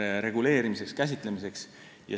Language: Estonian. – reguleerimiseks ja käsitlemiseks.